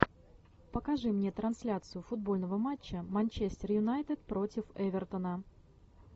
покажи мне трансляцию футбольного матча манчестер юнайтед против эвертона